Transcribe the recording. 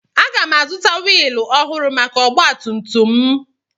Aga m azụta wiilụ ọhụrụ maka ọgba tum tum m